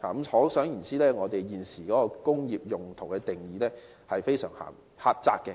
可想而知，我們現時對工業用途的定義非常狹窄。